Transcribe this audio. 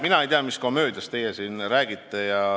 Mina ei tea, mis komöödiast teie siin räägite.